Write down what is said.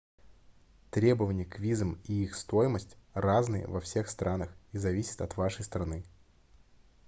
требования к визам и их стоимость разные во всех странах и зависят от вашей страны